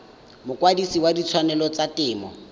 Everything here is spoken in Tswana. mokwadise wa ditshwanelo tsa temo